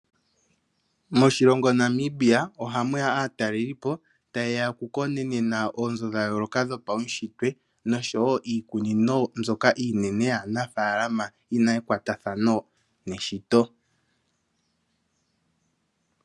Moshilongo Namibia oha mu ya aatalelipo, ta yeya oku konenena, oonzo dha yooloka dho paushitwe osho wo, iikunino mbyoka iinene yanafaalama yi na ekwatathano neshito.